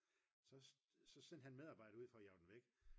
så sendte han medarbejdere ud for at jage den væk